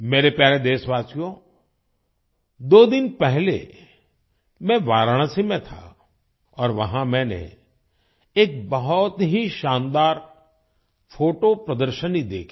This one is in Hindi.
मेरे प्यारे देशवासियों दो दिन पहले मैं वाराणसी में था और वहां मैंने एक बहुत ही शानदार फोटो प्रदर्शनी देखी